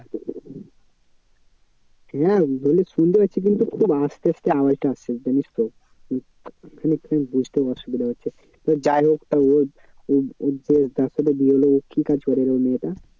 হ্যাঁ বলি শুনতে পাচ্ছি কিন্তু খুব আস্তে আস্তে আওয়াজটা আসছে জানিস তো খানিক খানিক বুঝতে অসুবিধা হচ্ছে। তো যাই হোক তো ওর ওর ওর যে যার সাথে বিয়ে হলো কি করেরে ওই মেয়েটা?